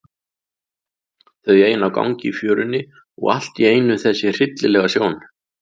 Þau ein á gangi í fjörunni og allt í einu þessi hryllilega sjón.